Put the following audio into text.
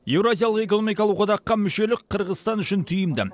еуразиялық экономикалық одаққа мүшелік қырғызстан үшін тиімді